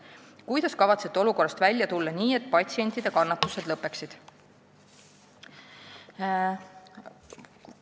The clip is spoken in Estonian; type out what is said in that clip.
Kuidas kavatsete olukorrast välja tulla nii, et patsientide kannatused lõppeksid?